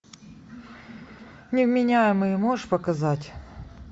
невменяемые можешь показать